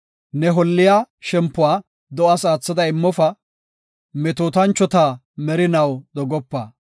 Ne holliya shempuwa do7aas aathada immofa; metootanchota merinaw dogopa.